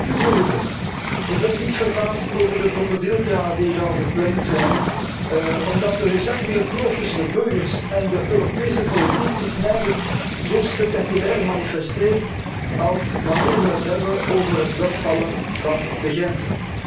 Voorzitter, ik ben niet verbaasd over de krokodillentranen die hier al geplengd zijn, omdat de reusachtige kloof tussen de burgers en de Europese politiek zich nergens zo spectaculair manifesteert als wanneer we het hebben over het wegvallen van de grenzen.